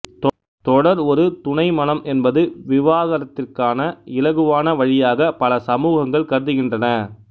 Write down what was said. தொடர் ஒரு துணை மணம் என்பது விவாகரத்திற்கான இலகுவான வழியாகப் பல சமூகங்கள் கருதுகின்றன